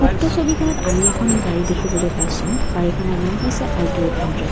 উক্ত ছবিখনত আমি এখন গাড়ী দেখিবলৈ পাইছোঁ গাড়ীখনৰ নাম হৈছে আল্টো এইট হান্দ্ৰেদ ।